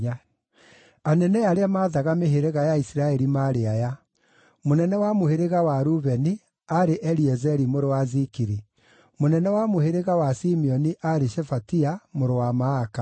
Anene arĩa maathaga mĩhĩrĩga ya Isiraeli maarĩ aya: mũnene wa mũhĩrĩga wa Rubeni aarĩ Eliezeri mũrũ wa Zikiri; mũnene wa mũhĩrĩga wa Simeoni aarĩ Shefatia mũrũ wa Maaka;